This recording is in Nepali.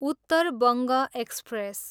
उत्तर बङ्ग एक्सप्रेस